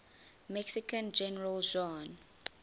mexican general juan